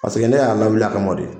ne y'a lawuli a kama de